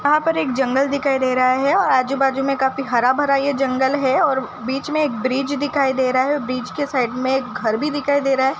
यहां पर एक जंगल दिखाई दे रहा हैआजु बाजू में काफी हरा भरा ये जंगल है और बीच में एक ब्रिज दिखाई दे रहा है और ब्रिज के साइड में एक घर भी दिखाई दे रहा है।